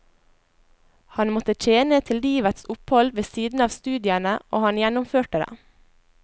Han måtte tjene til livets opphold ved siden av studiene, og han gjennomførte det.